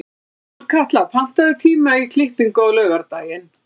Sólkatla, pantaðu tíma í klippingu á laugardaginn.